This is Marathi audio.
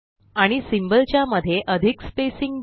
आणि सिंबल च्या मध्ये अधिक स्पेसिंग द्या